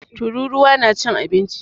Tururuwa na cin abinci.